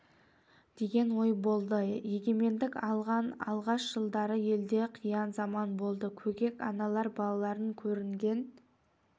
деген ой болды егемендік алған алғаш жылдары елде қиын заман болды көкек аналар балаларын көрінген